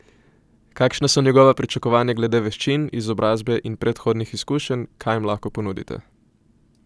Kakšna so njegova pričakovanja glede veščin, izobrazbe in predhodnih izkušenj, kaj jim lahko ponudite?